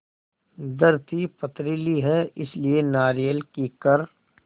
धरती पथरीली है इसलिए नारियल कीकर